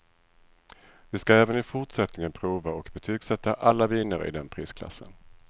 Vi ska även i fortsättningen prova och betygsätta alla viner i den prisklassen.